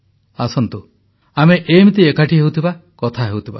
ଆସନ୍ତୁ ଆମେ ଏମିତି ଏକାଠି ହେଉଥିବା କଥା ହେଉଥିବା